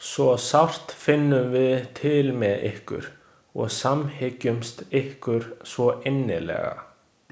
Svo sárt finnum við til með ykkur og samhryggjumst ykkur svo innilega.